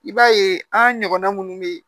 I b'a ye an ɲɔgɔnna minnu be yen